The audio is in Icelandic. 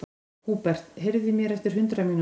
Húbert, heyrðu í mér eftir hundrað mínútur.